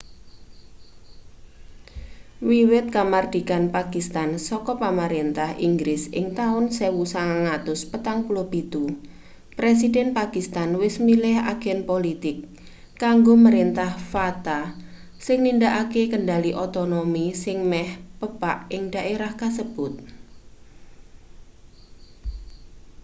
wiwit kamardikan pakistan saka pamrentah inggris ing taun 1947 presiden pakistan wis milih agen politik kanggo mrentah fata sing nindakake kendhali otonomi sing meh pepak ing dhaerah kasebut